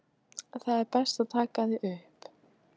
Það er best að taka þig upp.